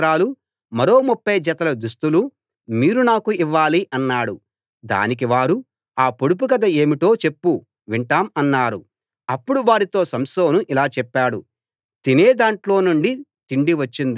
ఒకవేళ మీరు ఆ పొడుపు కథ విప్పలేకపోతే ఆ ముప్ఫై సన్నటి నార వస్త్రాలూ మరో ముప్ఫై జతల దుస్తులూ మీరు నాకు ఇవ్వాలి అన్నాడు దానికి వారు ఆ పొడుపు కథ ఏమిటో చెప్పు వింటాం అన్నారు